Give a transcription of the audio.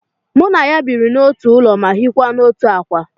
Mụ na ya biri n'otu ụlọ ma hiekwa n'otu ákwà